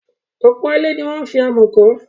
Ọ̀pọ̀ ilé ni wọ́n fi amọ̀ kọ́.